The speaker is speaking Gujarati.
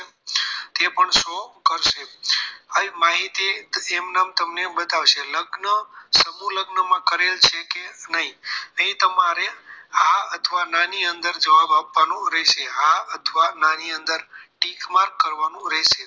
હવે આ માહિતી તમને એમનમ બતાવશે લગ્ન સમૂહ લગ્નમાં કરેલ છે કે નહીં તે તમારે હા અથવા ના ની અંદર જવાબ આપવાનો રહેશે હા અથવા ના ની અંદર ટીક માર્ક કરવાનું રહેશે